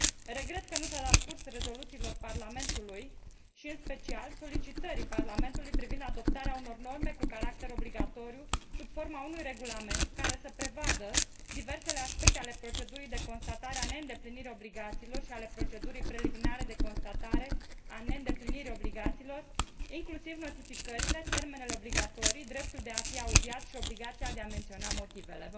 Regret că nu s a dat curs rezoluțiilor Parlamentului și, în special, solicitării Parlamentului privind adoptarea unor norme cu caracter obligatoriu, sub forma unui regulament care să prevadă diversele aspecte ale procedurii de constatare a neîndeplinirii obligațiilor și ale procedurii preliminare de constatare a neîndeplinirii obligațiilor, inclusiv notificările, termenele obligatorii, dreptul de a fi audiat și obligația de a menționa motivele.